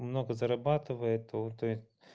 много зарабатывает тут